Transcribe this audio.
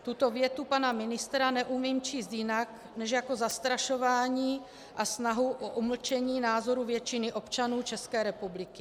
Tuto větu pana ministra neumím číst jinak než jako zastrašování a snahu o umlčení názoru většiny občanů České republiky.